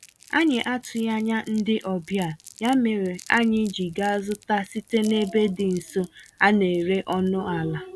Anyị atụghị anya ndị ọbịa, ya mèrè anyị ji gaa zụta site n'ebe dị nso, a néré ọnụ àlà